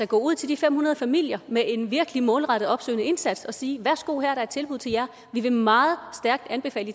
gå ud til de fem hundrede familier med en virkelig målrettet opsøgende indsats og sige værsgo her er der et tilbud til jer vi vil meget stærkt anbefale